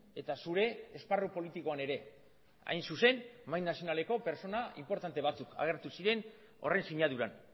eta zure esparru politikoan ere hain zuzen mahai nazionaleko pertsona inportante batzuk agertu ziren horren sinaduran